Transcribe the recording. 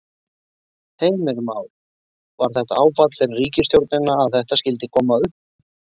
Heimir Már: Var þetta áfall fyrir ríkisstjórnina að þetta skyldi koma upp?